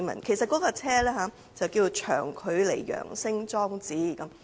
其實該裝置正式名稱為長距離揚聲裝置。